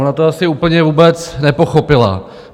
Ona to asi úplně vůbec nepochopila.